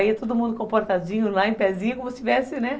Aí ia todo mundo comportadinho, lá em pézinho, como se estivesse, né?